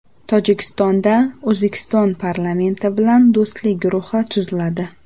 Tojikistonda O‘zbekiston parlamenti bilan do‘stlik guruhi tuziladi.